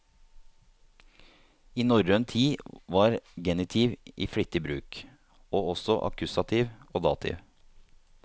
I norrøn tid var genitiv i flittig bruk, og også akkusativ og dativ.